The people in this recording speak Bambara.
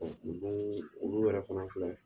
O tun bɛ olu yɛrɛ fana filɛ